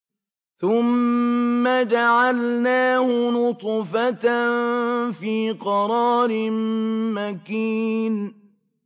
ثُمَّ جَعَلْنَاهُ نُطْفَةً فِي قَرَارٍ مَّكِينٍ